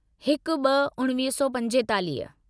हिक ब॒ उणिवीह सौ पंजेतालीह